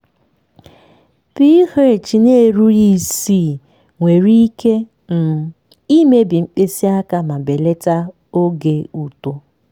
ph n'erughi isii nwere ike um imebi mkpịsị aka ma belata oge uto.